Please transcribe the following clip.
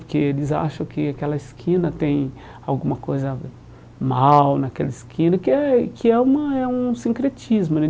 Porque eles acham que aquela esquina tem alguma coisa da mal naquela esquina, que é que é uma é um sincretismo, né?